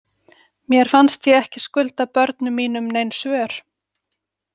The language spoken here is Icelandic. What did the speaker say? Mér fannst ég ekki skulda börnum mínum nein svör.